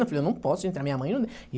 Eu falei, eu não posso entrar, minha mãe não